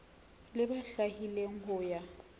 le ba hlwaileng ho ya